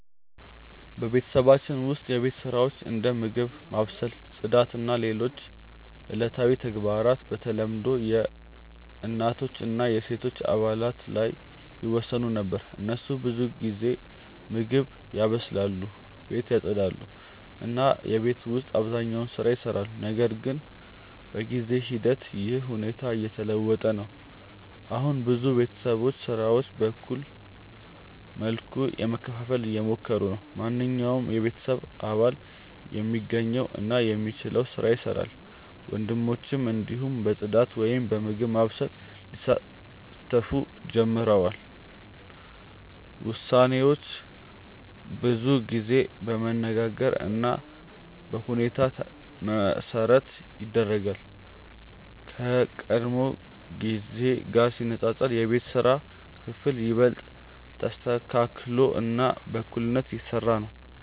በቤተሰባችን ውስጥ የቤት ስራዎች እንደ ምግብ ማብሰል፣ ጽዳት እና ሌሎች ዕለታዊ ተግባራት በተለምዶ በእናቶች እና በሴቶች አባላት ላይ ይወሰኑ ነበር። እነሱ ብዙ ጊዜ ምግብ ያበስላሉ፣ ቤትን ያጽዳሉ እና የቤት ውስጥ አብዛኛውን ስራ ይሰራሉ። ነገር ግን በጊዜ ሂደት ይህ ሁኔታ እየተለወጠ ነው። አሁን ብዙ ቤተሰቦች ስራዎችን በእኩል መልኩ ለመከፋፈል እየሞከሩ ናቸው። ማንኛውም የቤተሰብ አባል የሚገኝ እና የሚችለውን ስራ ይሰራል፣ ወንዶችም እንዲሁ በጽዳት ወይም በምግብ ማብሰል ሊሳተፉ ጀምረዋል። ውሳኔዎች ብዙ ጊዜ በመነጋገር እና በሁኔታ መሠረት ይደረጋሉ፣ ከቀድሞ ጊዜ ጋር ሲነጻጸር የቤት ስራ ክፍፍል ይበልጥ ተስተካክሎ እና በእኩልነት እየተሰራ ነው።